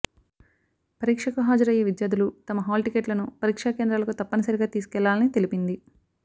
పరీక్షకు హాజరయ్యే విద్యార్ధులు తమ హాల్టిక్కెట్లను పరీక్షా కేంద్రాలకు తప్పనిసరిగా తీసుకెళ్ళాలని తెలిపింది